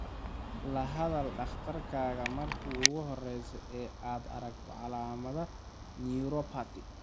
La hadal dhakhtarkaaga marka ugu horeysa ee aad aragto calaamadaha neuropathy.